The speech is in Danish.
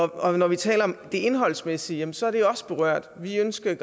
og når vi taler om det indholdsmæssige så er det også berørt vi ønsker